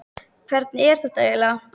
Hvernig er þetta eiginlega?